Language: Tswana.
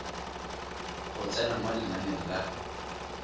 go tsena mo lenaneng la